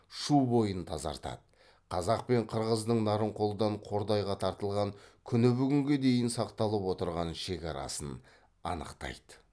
шу бойын тазартады қазақ пен қырғыздың нарынқолдан қордайға тартылған күні бүгінге дейін сақталып отырған шекарасын анықтайды